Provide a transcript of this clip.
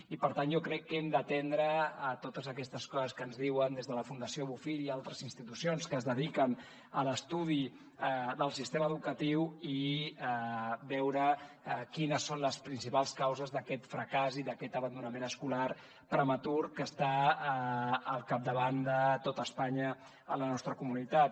i per tant jo crec que hem d’atendre totes aquestes coses que ens diuen des de la fundació bofill i altres institucions que es dediquen a l’estudi del sistema educatiu i veure quines són les principals causes d’aquest fracàs i d’aquest abandonament escolar prematur que està al capdavant de tot espanya la nostra comunitat